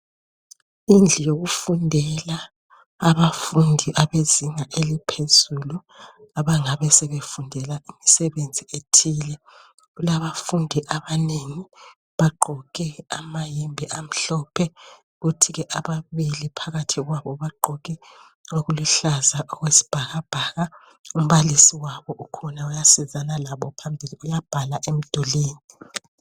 Indlu yokufundela abafundi abezinga eliphezulu abangabe sebefundela imisebenzi ethile. Kulabafundi abanengi, bagqoke amayembe amhlophe kuthi ke ababili phakathi kwabo bagqoke okuluhlaza okwesibhakabhaka. Umbalisi wabo ukhona uyasizana labo phambili, uyabhala emdulwini.